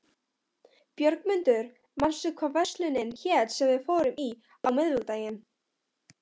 Björgmundur, manstu hvað verslunin hét sem við fórum í á miðvikudaginn?